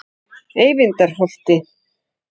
Eyvindarholti